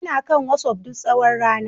Ina kan WhatsApp duk tsawon rana